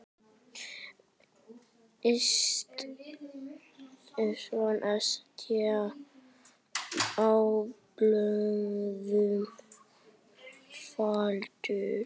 Yst á blöðum faldur.